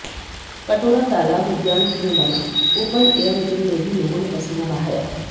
कटोरा तालाब उद्यान में बना ओपन एयर जिम में भी लोगों ने पसीना बहाया